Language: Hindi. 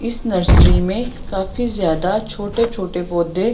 इस नर्सरी में काफी ज्यादा छोटे छोटे पौधे--